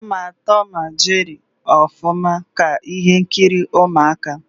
Ama Tọm na Jeri ọfụma, ka ihe nkiri ụmụaka